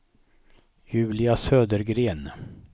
Julia Södergren